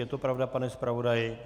Je to pravda, pane zpravodaji?